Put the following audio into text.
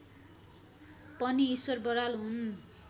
पनि ईश्वर बराल हुन्